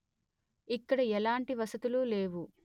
ఇక్కడ ఎలాంటి వసతులు లేవు